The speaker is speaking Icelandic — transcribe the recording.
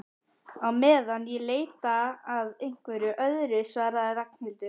Á meðan ég leita að einhverju öðru svaraði Ragnhildur.